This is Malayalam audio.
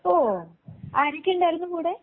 ഓ ആരൊക്കെ ഉണ്ടായിരുന്നു കൂടെ.